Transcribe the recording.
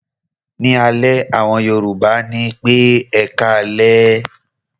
Ní alẹ́, àwọn Yorùbá á ní pé "ẹkáalẹ́".